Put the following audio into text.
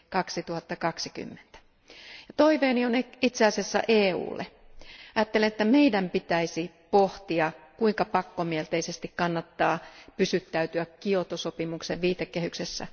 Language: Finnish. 2020. Toiveeni on itse asiassa EUlle ajattelen, että meidän pitäisi pohtia, kuinka pakkomielteisesti kannattaa pysyttäytyä Kioton sopimuksen viitekehyksessä.